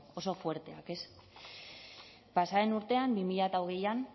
oso fuerteak ez pasa den urtean bi mila hogeian